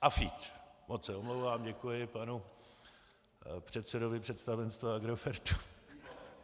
AFEED, moc se omlouvám, děkuji panu předsedovi představenstva Agrofertu.